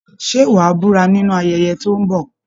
Ṣé wà a búra nínú ayẹyẹ tó ń bọ̀?